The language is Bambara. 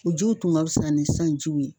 U jiw tun ka fisa ni sisan jiw ye